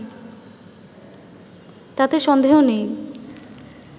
তাতে সন্দেহ নেই